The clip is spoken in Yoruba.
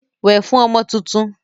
Wẹ̀ fún ọmọ tuntun!